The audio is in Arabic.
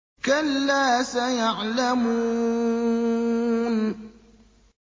كَلَّا سَيَعْلَمُونَ